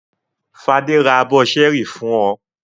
Fadé ra abọ́ ṣẹ́ẹ́rì fún ọ?